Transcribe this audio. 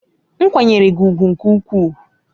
M kwanyere gi ugwu nke ukwuu.